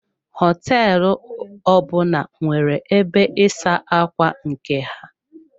Hoteelu ọbụna nwere ebe ịsa ákwà nke ha.